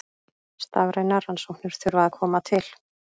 Starfrænar rannsóknir þurfa að koma til.